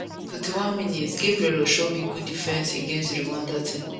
41mins gabriel osho wit good defence against di rwanda team